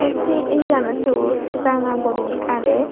se ae ganot siot ranga gurine age.